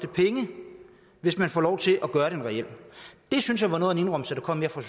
penge hvis man får lov til at gøre den reel det synes jeg var noget indrømmelse der kom her fra